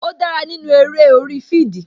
Ó dára nínú eré orí fidii